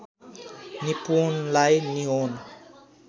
निप्पोनलाई Nihon